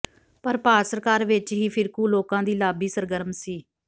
ਪਰ ਭਾਰਤ ਸਰਕਾਰ ਵਿਚ ਹੀ ਫਿਰਕੂ ਲੋਕਾਂ ਦੀ ਲਾਬੀ ਸਰਗਰਮ ਸੀ